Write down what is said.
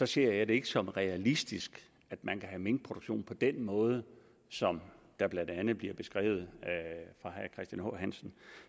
ser jeg det ikke som realistisk at man kan have minkproduktion på den måde som blandt andet bliver beskrevet af h hansen